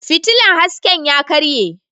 Fitilla hasken ya karye.